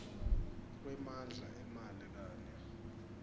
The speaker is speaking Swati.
kwemandla emali kanye